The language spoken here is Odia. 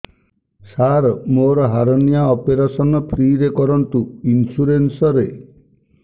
ସାର ମୋର ହାରନିଆ ଅପେରସନ ଫ୍ରି ରେ କରନ୍ତୁ ଇନ୍ସୁରେନ୍ସ ରେ